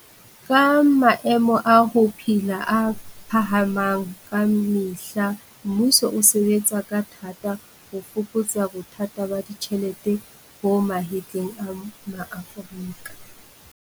Ka maemo a ho phela a phahamang ka me hla mmuso o sebe tsa ka thata ho fokotsa bothata ba ditjhelete bo mahetleng a ma-Aforika.